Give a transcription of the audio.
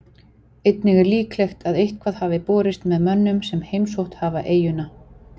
Einnig er líklegt að eitthvað hafi borist með mönnum sem heimsótt hafa eyjuna.